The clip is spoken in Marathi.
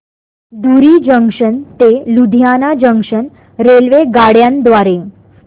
धुरी जंक्शन ते लुधियाना जंक्शन रेल्वेगाड्यां द्वारे